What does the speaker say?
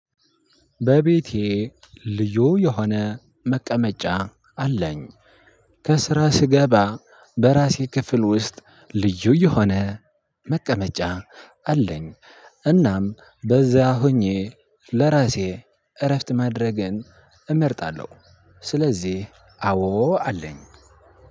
በቤቴ ልዩ የሆነ መቀመጫ አለኝ። ከስራ ስገባ በራሴ ክፍል ውስጥ ልዩ እየሆነ መቀመጫ አለኝ። እናም በዛ ሆኜ ለራሴ እረፍት ማድረግን እመርጣለሁ። ስለዚህ አዎ አለኝ።